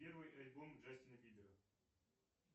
первый альбом джастина бибера